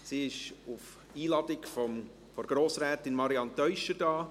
Sie ist auf Einladung von Grossrätin Marianne Teuscher hier.